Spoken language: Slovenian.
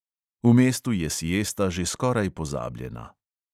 V mestu je siesta že skoraj pozabljena.